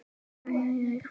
Sem gekk eftir.